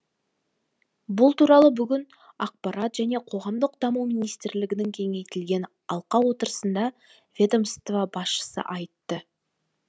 бұл туралы бүгін ақпарат және қоғамдық даму министрлігінің кеңейтілген алқа отырысында ведомство басшысы айтты